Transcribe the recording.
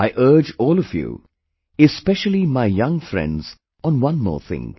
I urge all of you, especially my young friends on one more thing